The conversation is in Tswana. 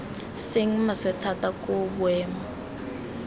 seng maswe thata koo boemo